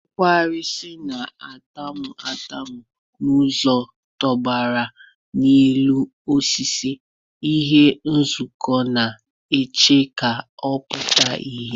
Kawurisi na-atamu ntamu nzuzo, tụbara n'elu osisi, ihe nzuzo na-eche ka ọ pụta ìhè.